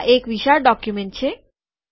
આ એક વિશાળ ડોક્યુમેન્ટ છે